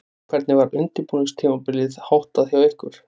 Hvernig var undirbúningstímabilinu háttað hjá ykkur?